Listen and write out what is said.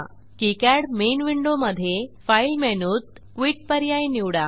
KiCad main विंडोमधे file मेनूत quit पर्याय निवडा